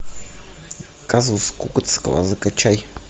казус кукоцкого закачай